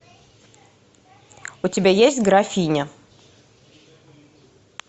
у тебя есть графиня